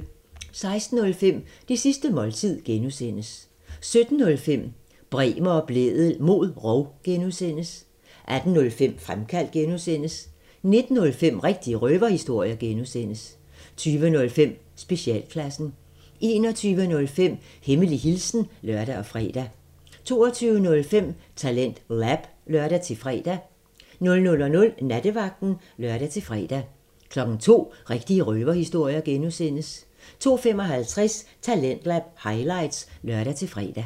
16:05: Det sidste måltid (G) 17:05: Bremer og Blædel mod rov (G) 18:05: Fremkaldt (G) 19:05: Rigtige røverhistorier (G) 20:05: Specialklassen 21:05: Hemmelig hilsen (lør og fre) 22:05: TalentLab (lør-fre) 00:00: Nattevagten (lør-fre) 02:00: Rigtige røverhistorier (G) 02:55: Talentlab highlights (lør-fre)